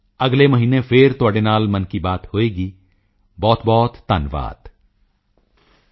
ਸਾਥੀਓ ਅਗਲੇ ਮਹੀਨੇ ਫਿਰ ਤੁਹਾਡੇ ਨਾਲ ਮਨ ਕੀ ਬਾਤ ਹੋਵੇਗੀ ਬਹੁਤਬਹੁਤ ਧੰਨਵਾਦ